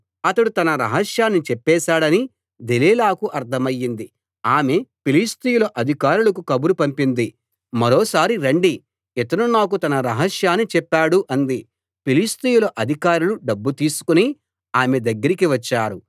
అతడు తన రహస్యాన్ని చెప్పేశాడని దెలీలాకు అర్థమైంది ఆమె ఫిలిష్తీయుల అధికారులకు కబురు పంపింది మరోసారి రండి ఇతను నాకు తన రహస్యాన్ని చెప్పాడు అంది ఫిలిష్తీయుల అధికారులు డబ్బు తీసుకుని ఆమె దగ్గరికి వచ్చారు